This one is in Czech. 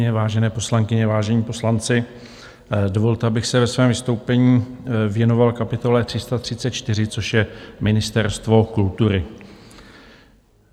Vážené poslankyně, vážení poslanci, dovolte, abych se ve svém vystoupení věnoval kapitole 334, což je Ministerstvo kultury.